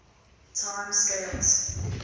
time scales